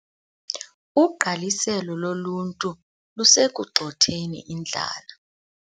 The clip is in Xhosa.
Ugqaliselo loluntu lusekugxotheni indlala.